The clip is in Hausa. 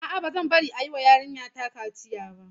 A'a, ba zan bari a yi wa yarinyata kaciya ba.